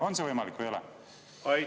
On see võimalik või ei ole?